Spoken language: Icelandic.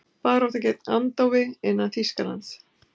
Barátta gegn andófi innan Þýskalands